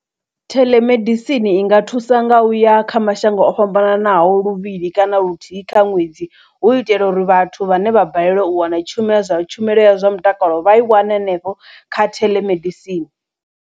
Theḽemedisini i nga thusa nga uya kha mashango o fhambananaho luvhili kana luthihi kha ṅwedzi hu itela uri vhathu vhane vha balelwa u wana tshumela zwa tshumelo ya zwa mutakalo vha i wane hanefho kha theḽemedisini.